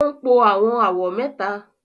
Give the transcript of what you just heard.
o npọ awọn awọ mẹta.